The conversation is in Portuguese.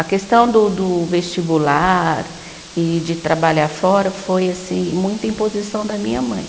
A questão do do vestibular e de trabalhar fora foi assim muita imposição da minha mãe.